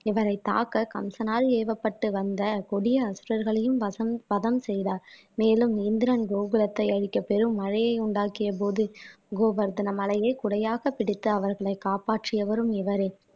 இவரை தாக்க கம்சனால் ஏவப்பட்டு வந்த கொடிய அசுரர்களையும் வசம் வதம் செய்தார் மேலும் இந்திரன் கோகுலத்தை அழிக்கப் பெரும் மழையை உண்டாக்கிய போது கோவர்த்தன மலையை குடையாக பிடித்து அவர்களை காப்பாற்றியவரும் இவரே